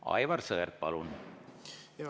Aivar Sõerd, palun!